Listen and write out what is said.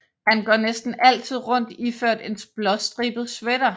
Han går næsten altid rundt iført en blåstribet sweater